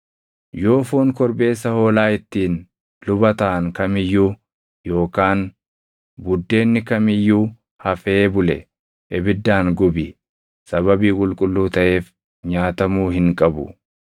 Yoo foon korbeessa hoolaa ittiin luba taʼan kam iyyuu yookaan buddeenni kam iyyuu hafee bule ibiddaan gubi; sababii qulqulluu taʼeef nyaatamuu hin qabu.